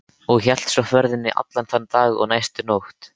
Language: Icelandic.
Og hélt svo ferðinni allan þann dag og næstu nótt.